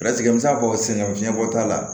Latigɛ n'a fɔ sina fiɲɛ bɔ t'a la